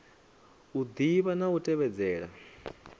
u ḓivha na u tevhedzela